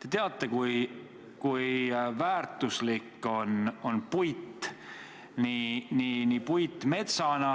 Te teate, kui väärtuslik on puit, nii metsana